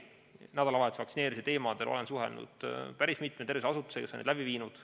Nädalavahetusel toimunud vaktsineerimise teemadel olen suhelnud päris mitme tervishoiuasutusega, kes on vaktsineerimisi läbi viinud.